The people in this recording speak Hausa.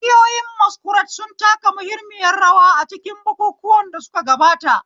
Ƙungiyoyin Masquerade sun taka muhimmiyar rawa a cikin bukukuwan da suka gabata.